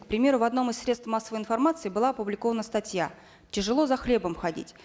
к примеру в одном из средств массовой информации была опубликована статья тяжело за хлебом ходить